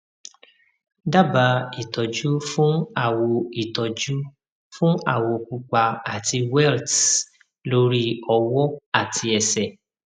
daba itọju fun awo itọju fun awo pupa ati welts lori ọwọ ati ẹsẹ